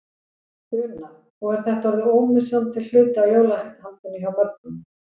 Una: Og er þetta orðið ómissandi hluti af jólahaldinu hjá mörgum?